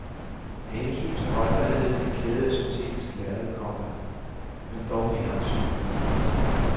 Af hensyn til holdbarheden er klædet af syntetisk lærred, komma men dog med håndsyninger. punktum